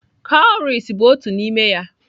Cowries bụ otu n'ime ya.